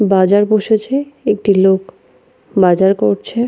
বাজার বসেছে। একটি লোক বাজার করছে।